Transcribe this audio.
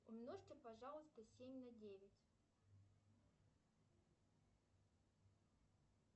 умножьте пожалуйста семь на девять